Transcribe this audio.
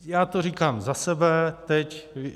Já to říkám za sebe teď.